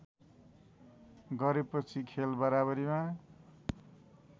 गरेपछि खेल बराबरीमा